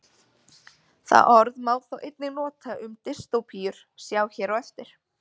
Það orð má þó einnig nota um dystópíur, sjá hér á eftir.